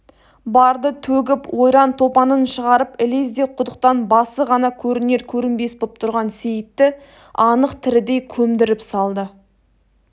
барды төгіп ойран-топанын шығарып ілезде құдықтан басы ғана көрінер-көрінбес боп тұрған сейітті анық тірідей көмдіріп салды